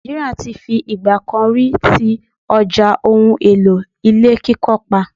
Nàìjíríà ti fi ìgbà kan rí ti ọjà ohun-èlò ilé kíkọ́ pa.